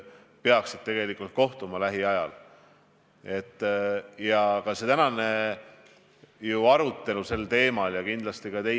Me teame, et Ameerika Ühendriigid panevad lennujaamu kinni, et Itaalia on sulgenud kauplused, välja arvatud toidukauplused.